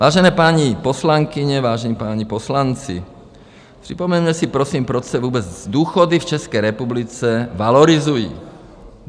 Vážené paní poslankyně, vážení páni poslanci, připomeňme si prosím, proč se vůbec důchody v České republice valorizují.